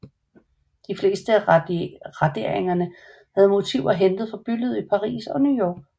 De fleste af raderingerne havde motiver hentet fra bylivet i Paris og New York